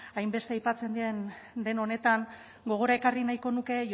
hainbeste aipatzen den honetan gogora ekarri nahiko nuke